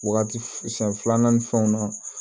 Wagati san filanan ni fɛnw na